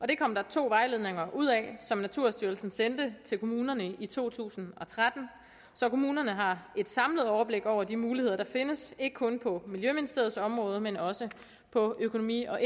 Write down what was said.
det kom der to vejledninger ud af som naturstyrelsen sendte til kommunerne i to tusind og tretten så kommunerne har et samlet overblik over de muligheder der findes ikke kun på miljøministeriets område men også på økonomi og